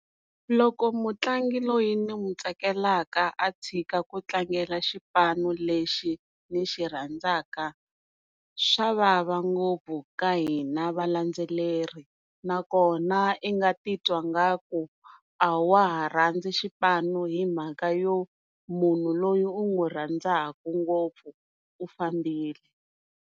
Loko mutlangi loyi ni n'wi tsakelaka a tshika ku tlangela xipano lexi ni xi rhandzaka swa vava ngopfu ka hina va landzeleri nakona i nga ti twa ngaku a waha rhandzi xipano hi mhaka yo munhu loyi u n'wi rhandzaku ngopfu u fambile.